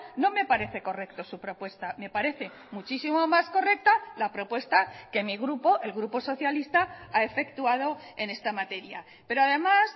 no me parece correcto su propuesta me parece muchísimo más correcta la propuesta que mi grupo el grupo socialista ha efectuado en esta materia pero además